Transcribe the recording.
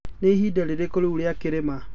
nĩ ĩhĩnda rĩrĩkũ riũ rĩa kĩrĩma